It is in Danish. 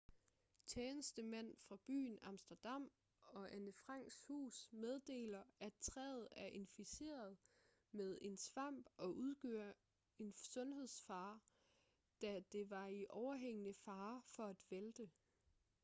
tjenestemænd fra byen amsterdam og anne franks hus meddeler at træet er inficeret med en svamp og udgør en sundhedsfare da det var i overhængende fare for at vælte